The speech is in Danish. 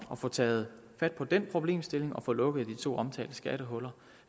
at få taget fat på den problemstilling og få lukket de to omtalte skattehuller